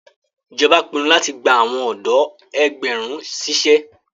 Ijọba pinnu lati gba awọn ọdọ ẹgbàárún ṣiṣẹ